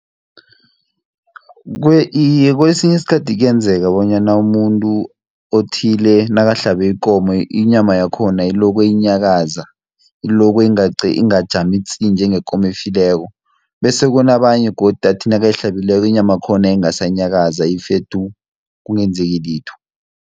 Iye kesinye isikhathi kuyenzeka bonyana umuntu othile nakahlabe ikomo inyama yakhona iloko inyakaza, iloko ingajami tsi! njengekomo efileko, bese kunabanye godu athi nakayihlabileko inyama yakhona ingasanyakaza ife tu! kungenzeki litho.